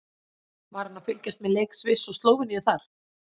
Var hann að fylgjast með leik Sviss og Slóveníu þar?